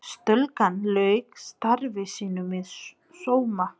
Stúlkan lauk starfi sínu með sóma.